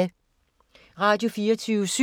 Radio24syv